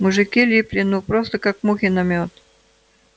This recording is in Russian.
мужики липли ну просто как мухи на мёд